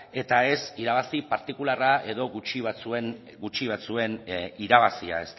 eta ez irabazi partikularra edo gutxi batzuen irabazia